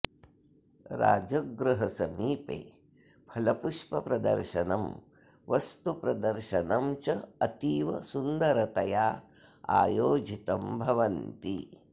राजगृहसमीपे फलपुष्पप्रदर्शनं वस्तुप्रदर्शनं च अतीव सुन्दरतया आयोजितं भवन्ति